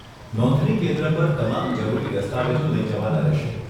નોંધણી કેન્દ્ર પર તમામ જરૂરી દસ્તાવેજો લઈ જવાના રહેશે.